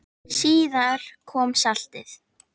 Síðar kom saltið.